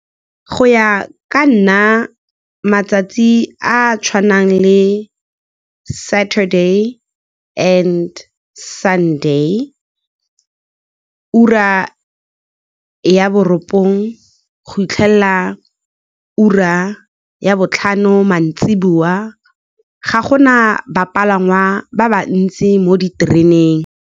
Go ya ka nna, matsatsi a a tshwanang le Saturday and Sunday, ura ya borobongwe go fitlhelela ka ura ya botlhano mantsiboa, ga gona ba ba ba ntsi mo ditereneng.